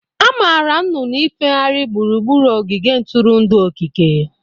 Amaara nnụnụ ifehari gburugburu ogige ntụrụndụ okike.